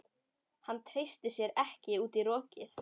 Hann treysti sér ekki út í rokið.